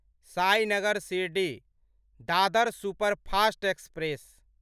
Sainagar Shirdi Dadar superfast express